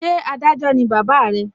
Ṣé Adájọ́ ni bàbá re?